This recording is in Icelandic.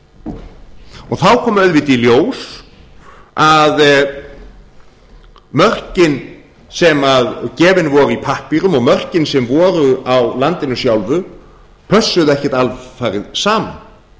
og þá kom auðvitað í ljós að mörkin sem gefin voru í pappírum og mörkin sem voru á landinu sjálfu pössuðu ekki alfarið saman